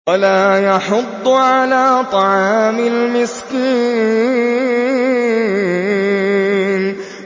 وَلَا يَحُضُّ عَلَىٰ طَعَامِ الْمِسْكِينِ